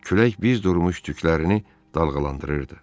Külək biz durmuş tüklərini dalğalandırırdı.